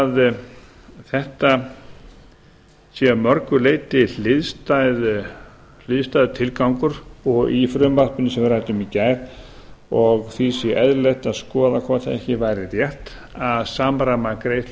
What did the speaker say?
að þetta sé að mörgu leyti hliðstæður tilgangur og í frumvarpinu sem við ræddum í gær og því sé eðlilegt að skoða hvort ekki væri rétt að samræma greiðslur